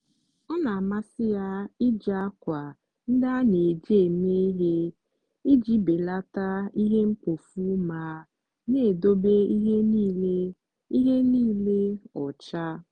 ọ na-amasị ya iji akwa ndị a na-eji eme ihe iji belata ihe mkpofu ma na-edobe ihe niile ihe niile ọcha.